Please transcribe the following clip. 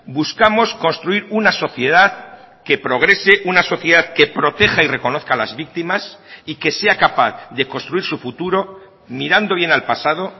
buscamos construir una sociedad que progrese una sociedad que proteja y reconozca a las víctimas y que sea capaz de construir su futuro mirando bien al pasado